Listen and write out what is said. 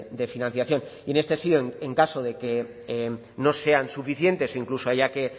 de financiación y en este sí en caso de que no sean suficientes incluso haya que